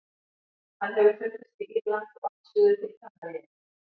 Hann hefur fundist við Írland og allt suður til Kanaríeyja.